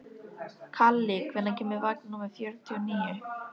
Kalli, hvenær kemur vagn númer fjörutíu og níu?